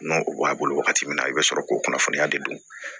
N'o b'a bolo wagati min na i bɛ sɔrɔ k'o kunnafoniya de don